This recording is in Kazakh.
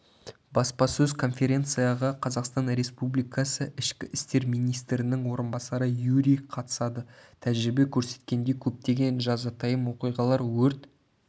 баспасөз конференцияға қазақстан республикасы ішкі істер министрінің орынбасары юрий қатысады тәжірибе көрсеткендей көптеген жазатайым оқиғалар өрт